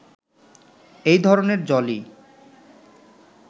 এই ধরনের জলই